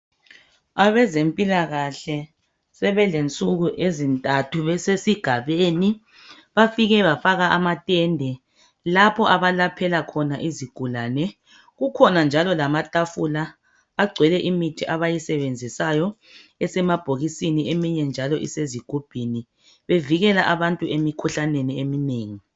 Abezempilakahle sebelensuku ezintathu besesigabeni. Bafike bafaka amatende lapho abalaphela khona. Kukhona njalo lamatafula agcwele imithi abayisebenzisayo (esemabhokisini, eminye njalo isezigubhini), bevikela abantu emikhuhlaneni eminengi.